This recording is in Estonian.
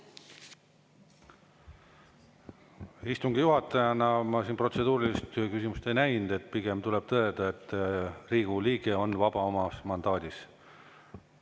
Istungi juhatajana ma siin protseduurilist küsimust ei näinud, pigem tuleb tõdeda, et Riigikogu liige on vaba oma mandaadis.